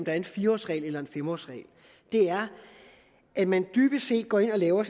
er en fire årsregel eller en fem årsregel er at man dybest set går ind og laver